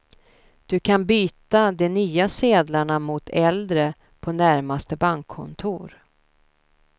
Du kan byta de nya sedlarna mot äldre på närmaste bankkontor.